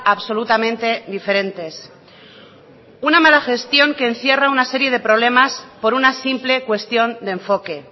absolutamente diferentes una mala gestión que encierra una serie de problemas por una simple cuestión de enfoque